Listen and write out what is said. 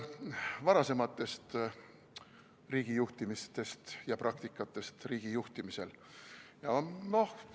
... varasemast riigijuhtimisest ja praktikast riigi juhtimisel.